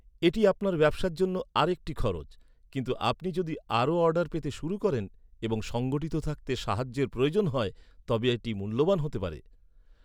এটি আপনার ব্যবসার জন্য আরেকটি খরচ, কিন্তু আপনি যদি আরও অর্ডার পেতে শুরু করেন এবং সংগঠিত থাকতে সাহায্যের প্রয়োজন হয় তবে এটি মূল্যবান হতে পারে।